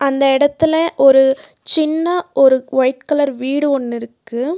இந்த எடத்துல ஒரு சின்ன ஒரு ஒயிட் கலர் வீடு ஒன்னுருக்கு.